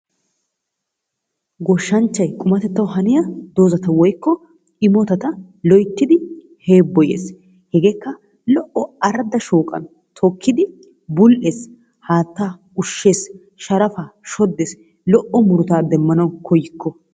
Goshshanchchay qummatettawu haniya dozzata woykko immotata loyttidi heeboyees, hegeekka lo'o arada shooqqan tokkidi bul'ees, haataa ushshees, sharafaa shodees, lo''o murutaa demmana koykko.